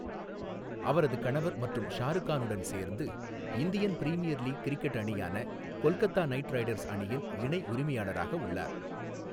அவரது கணவர் மற்றும் ஷாருக்கானுடன் சேர்ந்து, இந்தியன் பிரீமியர் லீக் கிரிக்கெட் அணியான கொல்கத்தா நைட் ரைடர்ஸ் அணியின் இணை உரிமையாளராக உள்ளார்.